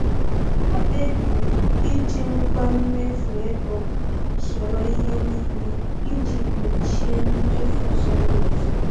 Ha kpebiri iji ngwa mmefu ego soro ihe n'ile iji gbochie mmefu zoro ezo